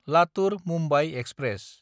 Latur Mumbai express